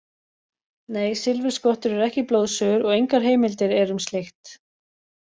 Nei, silfurskottur eru ekki blóðsugur og engar heimildir eru um slíkt.